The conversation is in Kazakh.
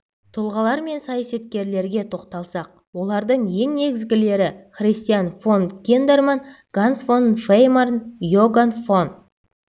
тұлғалар мен саясаткерлерге тоқталсақ олардың ең негізгілері христиан фон киндерман ганс фон веймарн иогаан фон